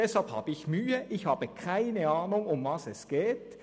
Deshalb habe ich Mühe, denn ich habe keine Ahnung, worum es geht.